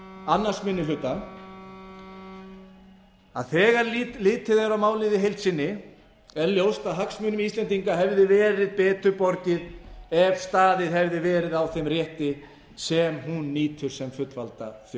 annar minni hluta að þegar litið er á málið í heild sinni er ljóst að hagsmunum íslendinga hefði verið betur borgið ef staðið hefði verið á þeim rétti sem hún nýtur sem fullvalda